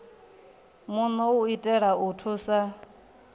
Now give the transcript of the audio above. muno u itela u thusa